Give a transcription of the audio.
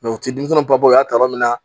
u ti denmisɛnw papiyew y'a kalama